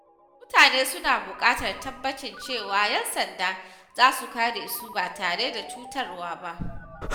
Mutane suna buƙatar tabbacin cewa ƴan sanda za su kare su ba tare da cutarwa ba.